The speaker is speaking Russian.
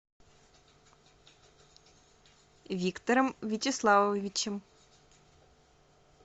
виктором вячеславовичем